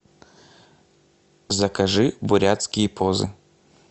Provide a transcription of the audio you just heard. закажи бурятские позы